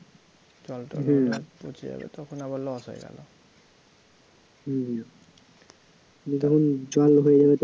পচে যাবে তখন আবার loss হয়ে গেল